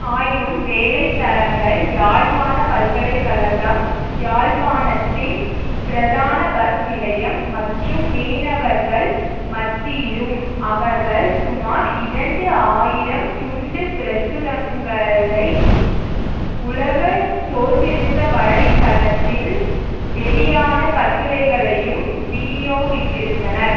ஆயினும் வேலை தளங்கள் யாழ்ப்பாண பல்கலை கழகம் யாழ்ப்பாணத்தின் பிரதான பஸ் நிலையம் மற்றும் மீனவர்கள் மத்தியிலும் அவர்கள் சுமார் இரண்டு ஆயிரம் துண்டு பிரசுரங்களையும் உலக சோசியலிச வலை தளத்தில் வெளியான கட்டுரைகளையும் விநியோகித்திருந்தனர்